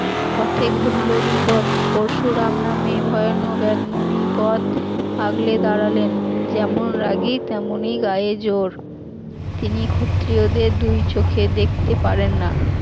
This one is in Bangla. পথে ঘটল বিপদ পরশুরাম নামে ভয়ানক এক মুনি পথ আগলে দাঁড়ালেন, যেমন রাগী তেমনি গায়ে জোর, তিনি ক্ষত্রিয়দের দুই চোখে দেখতে পারেন না